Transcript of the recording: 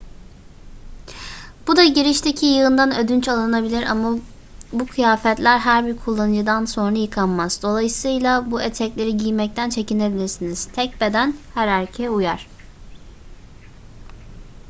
bu da girişteki yığından ödünç alınabilir ama bu kıyafetler her bir kullanıcıdan sonra yıkanmaz dolayısıyla bu etekleri giymekten çekinebilirsiniz tek beden her erkeğe uyar